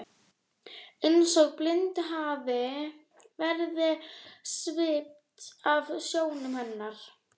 Eins og blindu hafi verið svipt af sjónum hennar.